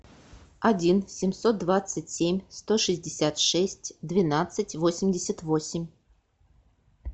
один семьсот двадцать семь сто шестьдесят шесть двенадцать восемьдесят восемь